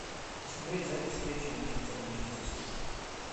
посмотреть запись встречи манчестер манчестер сити